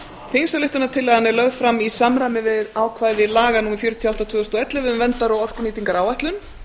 þingsályktunartillagan er lögð fram í samræmi við ákvæði laga númer fjörutíu og átta tvö þúsund og ellefu um verndar og orkunýtingaráætlun